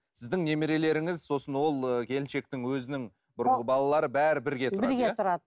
сіздің немерелеріңіз сосын ол келіншектің өзінің бұрынғы балалары бәрі бірге бірге тұрады